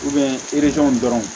dɔrɔnw